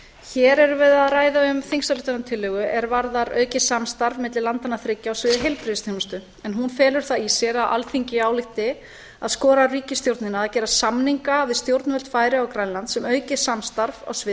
hér erum við að ræða um þingsályktunartillögu er varðar aukið samstarf milli landanna þriggja á sviði heilbirðgisþjónustu hún felur það í sér að alþingi álykti að skora á ríkisstjórnina að gera samninga við stjórnvöld færeyja og grænlands um aukið samstarf á sviði